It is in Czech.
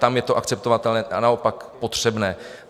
Tam je to akceptovatelné a naopak potřebné.